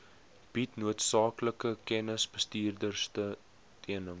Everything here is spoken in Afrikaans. bied noodsaaklike kennisbestuurondersteuning